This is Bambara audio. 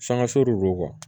Sangaso de don